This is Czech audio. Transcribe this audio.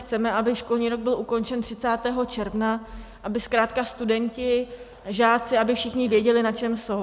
Chceme, aby školní rok byl ukončen 30. června, aby zkrátka studenti, žáci, aby všichni věděli, na čem jsou.